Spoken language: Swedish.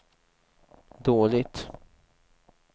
dåligt